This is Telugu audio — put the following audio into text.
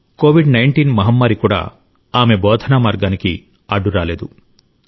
కోవిడ్ 19 మహమ్మారి కూడా ఆమె బోధనామార్గానికి అడ్డు రాలేదు